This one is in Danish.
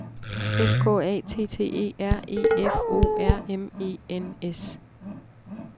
S K A T T E R E F O R M E N S